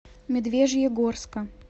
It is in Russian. медвежьегорска